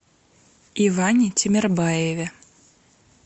иване тимербаеве